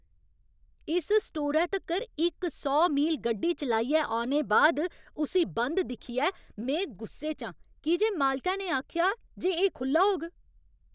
इस स्टोरै तक्कर इक सौ मील गड्डी चलाइयै औने बाद उस्सी बंद दिक्खियै में गुस्से च आं की जे मालकै ने आखेआ जे एह् खु'ल्ला होग।